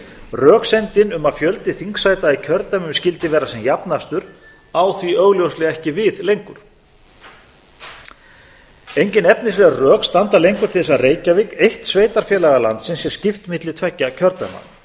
röksemdin um að fjöldi þingsæta í kjördæmum skyldi vera sem jafnastur á því augljóslega ekki við lengur engin efnisleg rök standa lengur til þess að reykjavík eitt sveitarfélaga landsins sé skipt milli tveggja